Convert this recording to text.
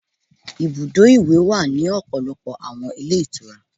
Ibùdó ìwẹ̀ wà ní ọ̀pọ̀lọpọ̀ àwọn ilé ìtura.